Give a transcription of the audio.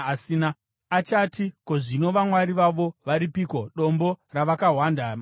Achati, “Ko, zvino vamwari vavo varipiko, dombo ravakahwanda mariri,